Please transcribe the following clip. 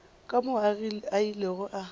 ka moo a ilego a